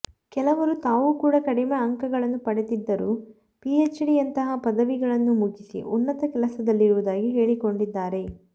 ಕೆಲವರು ತಾವು ಕೂಡ ಕಡಿಮೆ ಅಂಕಗಳನ್ನು ಪಡೆದಿದ್ದರೂ ಪಿಎಚ್ಡಿಯಂತಹ ಪದವಿಗಳನ್ನು ಮುಗಿಸಿ ಉನ್ನತ ಕೆಲಸದಲ್ಲಿರುವುದಾಗಿ ಹೇಳಿಕೊಂಡಿದ್ದಾರೆ